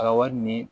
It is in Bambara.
A ka wari ni